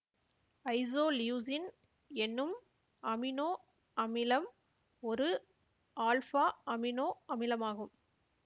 isoleucine என்னும் amino அமிலம் ஒரு ஆல்ஃபா அமினோ அமிலமாகும்